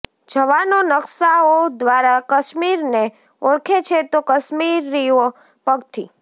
જવાનો નકશાઓ દ્વારા કાશ્મીરને ઓળખે છે તો કાશ્મીરીઓ પગથી